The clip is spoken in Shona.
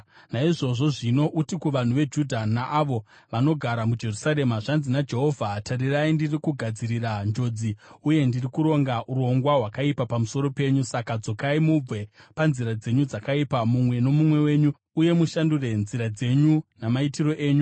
“Naizvozvo zvino uti kuvanhu veJudha naavo vanogara muJerusarema, ‘Zvanzi naJehovha: Tarirai, ndiri kugadzirira njodzi uye ndiri kuronga urongwa hwakaipa pamusoro penyu. Saka dzokai mubve panzira dzenyu dzakaipa, mumwe nomumwe wenyu, uye mushandure nzira dzenyu namaitiro enyu.’